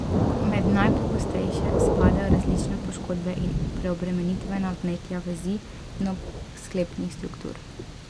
Med najpogostejše spadajo različne poškodbe in preobremenitvena vnetja vezi in obsklepnih struktur.